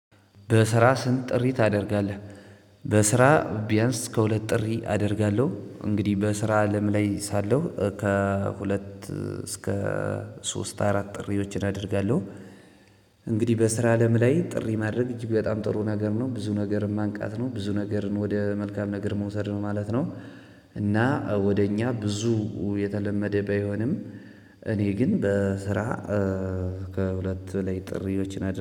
በስራ ስንት ጥሪ ታደርጋለህ? በስራ ቢያንስ እስከ ሁለት ጥሪ አደርጋለሁ እንግዲህ በስራ አለም ላይ ሳለሁ ከሁለት እስከ ሶስት አራት ጥሪዎችን አደርጋለሁ። እንግዲህ በስራ አለም ላይ ጥሪ ማድረግ እጅግ በጣም ጥሩ ነገር ነው ብዙ ነገር ማንቃት ነው ብዙ ነገርን ወደ መልካም ነገር መውሰድ ነው ማለት ነው። እና ወደ እኛ ብዙ የተለመደ ባይሆንም። እኔ ግን በስራ ከሁለት በላይ ጥሪዎች አደርጋ